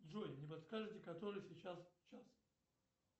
джой не подскажете который сейчас час